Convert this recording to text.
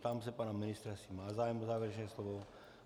Ptám se pana ministra, jestli má zájem o závěrečné slovo.